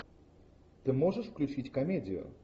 ты можешь включить комедию